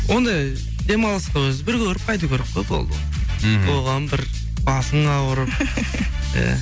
ондай демалысқа өзі бір көріп қайту керек қой болды ғой мхм оған бір басың ауырып иә